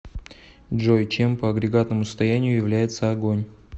джой чем по агрегатному состоянию является огонь